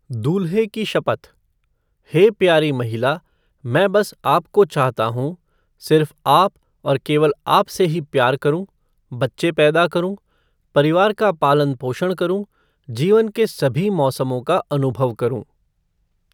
दूल्हे की शपथ हे प्यारी महिला, मैं बस आपको चाहता हूँ, सिर्फ आप और केवल आप से ही प्यार करूँ, बच्चे पैदा करूँ, परिवार का पालन पोषण करूँ, जीवन के सभी मौसमों का अनुभव करूँ।